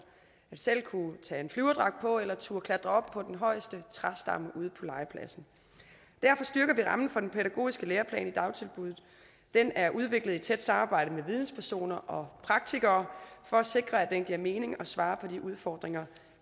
selv at kunne tage en flyverdragt på eller at turde klatre op på den højeste træstamme ude på legepladsen derfor styrker vi rammen for den pædagogiske læreplan i dagtilbuddet den er udviklet i tæt samarbejde med videnspersoner og praktikere for at sikre at den giver mening og svarer til de udfordringer